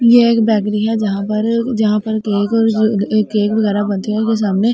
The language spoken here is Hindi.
ये एक बेकरी है जहां पर केक जहां पर केक और केक वगैरा बनते है सामने।